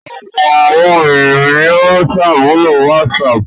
Ọ̀pọ̀ àwọn ènìyàn ni ó ṣàmúlò WhatsApp.